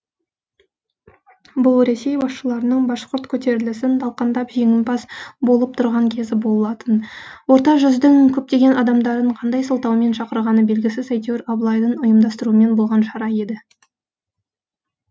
бұл ресей басшыларының башқұрт көтерілісін талқандап жеңімпаз болып тұрған кезі болатын орта жүздің көптеген адамдарын қандай сылтаумен шақырғаны белгісіз әйтеуір абылайдың ұйымдастыруымен болған шара еді